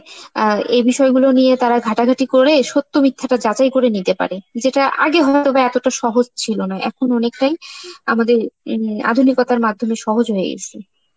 আঁ এই বিষয়গুলো নিয়ে তারা ঘাটাঘাটি করে সত্য মিথ্যাটা যাচাই করে নিতে পারে সেটা আগে হতো না, এতটা সহজ ছিল না, এখন অনেকটাই আমাদের~ হম আধুনিকতার মাধ্যমে সহজ হয়ে গেসে.